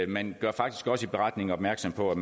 man gør faktisk også i beretningen opmærksom på at